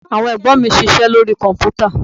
Àwọn Ẹ̀gbọ́n mi ń ṣiṣẹ́ lórí Kọ̀m̀pútà